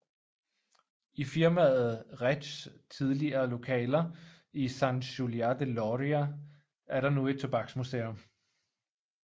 I firmaet Reigs tidligere lokaler i Sant Julià de Lòria er der nu et tobaksmuseum